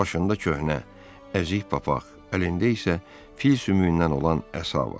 Başında köhnə, əzik papaq, əlində isə fil sümüyündən olan əsa var.